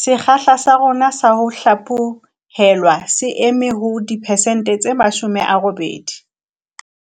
Sekgahla sa rona sa ho hlaphohelwa se eme ho diperesente tse 80.